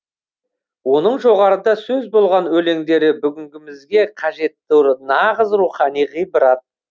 оның жоғарыда сөз болған өлеңдері бүгінгімізге қажетті нағыз рухани ғибрат